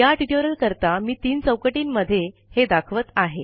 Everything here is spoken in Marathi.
या ट्युटोरियल करता मी तीन चौकटींमधे हे दाखवत आहे